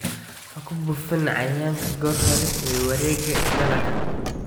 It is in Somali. Ha ku buufin cayayaanka goor hore ee wareegga dalagga.